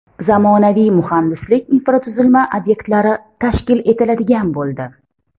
Zamonaviy muhandislik infratuzilma obyektlari tashkil etiladigan bo‘ldi.